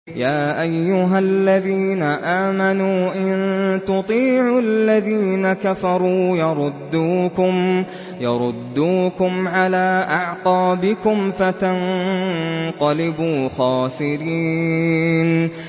يَا أَيُّهَا الَّذِينَ آمَنُوا إِن تُطِيعُوا الَّذِينَ كَفَرُوا يَرُدُّوكُمْ عَلَىٰ أَعْقَابِكُمْ فَتَنقَلِبُوا خَاسِرِينَ